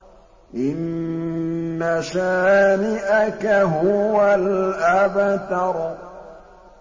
إِنَّ شَانِئَكَ هُوَ الْأَبْتَرُ